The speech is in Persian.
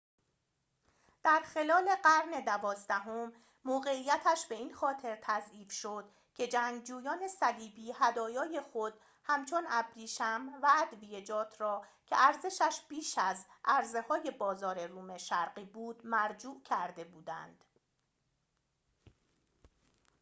در خلال قرن دوازدهم موقعیتش به این خاطر تضعیف شد که جنگجویان صلیبی هدایای خود همچون ابریشم و ادویه‌جات را که ارزشش بیش از عرضه‌های بازار روم شرقی بود مرجوع کرده بودند